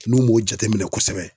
N'u m'o jateminɛ kosɛbɛ